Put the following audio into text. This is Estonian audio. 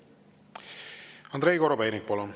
Andrei Korobeinik, palun!